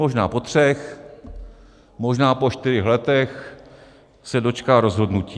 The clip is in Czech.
Možná po třech, možná po čtyřech letech se dočká rozhodnutí.